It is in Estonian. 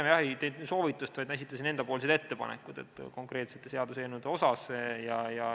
Ma pigem ei andnud soovitust, vaid ma esitasin enda ettepanekud konkreetsete seaduseelnõude kohta.